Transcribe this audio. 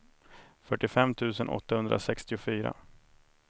fyrtiofem tusen åttahundrasextiofyra